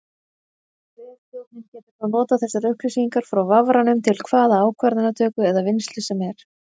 Vefþjónninn getur þá notað þessar upplýsingar frá vafranum til hvaða ákvarðanatöku eða vinnslu sem er.